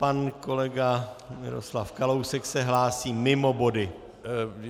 Pan kolega Miroslav Kalousek se hlásí mimo body.